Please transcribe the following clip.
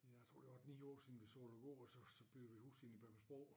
Jeg tror det 8 9 år siden vi solgte æ gård og så så byggede hus inde i Bækmarksbro